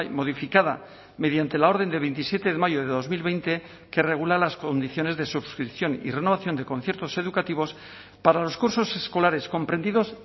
modificada mediante la orden de veintisiete de mayo de dos mil veinte que regula las condiciones de suscripción y renovación de conciertos educativos para los cursos escolares comprendidos